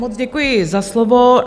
Moc děkuji za slovo.